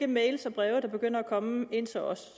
mails og breve der begynder at komme ind til os